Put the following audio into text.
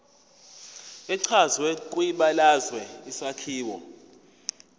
echazwe kwibalazwe isakhiwo